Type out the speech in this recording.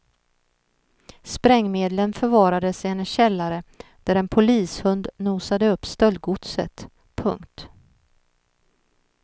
Sprängmedlen förvarades i hennes källare där en polishund nosade upp stöldgodset. punkt